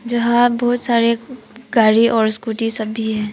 जहां बहोत सारे गाड़ी और स्कूटी सभी है।